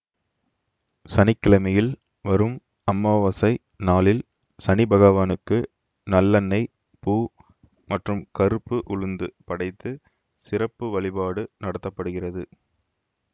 சனிக்கிழமையில் வரும் அமாவாசை நாளில் சனி பகவானுக்கு நல்லெண்னெய் பூ மற்றும் கறுப்பு உளுந்து படைத்து சிறப்பு வழிபாடு நடத்த படுகிறது